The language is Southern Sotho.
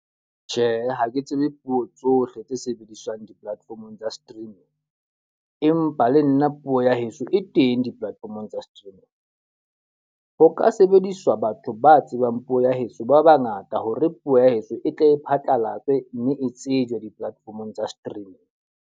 Tjhe, ha ke tsebe puo tsohle tse sebediswang di-platform-ong tsa streaming. Empa le nna puo ya heso e teng di-platform-ong tsa streaming. Ho ka sebediswa batho ba tsebang puo ya heso ba ba ngata hore puo ya heso e tle e phatlalatswe, mme e tsejwa di-platform-ong tsa streaming.